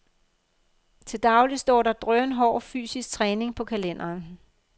Til daglig står der drønhård fysisk træning på kalenderen.